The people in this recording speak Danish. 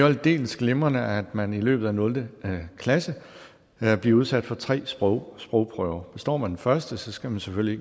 aldeles glimrende at man i løbet af nul klasse bliver udsat for tre sprogprøver sprogprøver består man den første skal man selvfølgelig